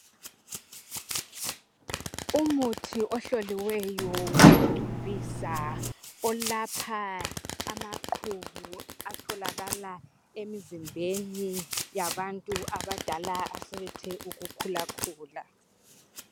Umuthi ohloliweyo wokugcobisa olapha amaqhubu atholakala emizimbeni yabantu abadala asebethe ukukhulakhula.